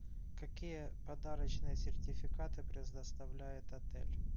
какие подарочные сертификаты предоставляет отель